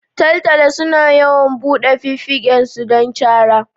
Taltalo sunu yawan buɗe fifigen su don cara